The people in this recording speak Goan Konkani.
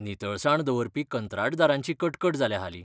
नितळसाण दवरपी कंत्राटदारांची कटकट जाल्या हालीं.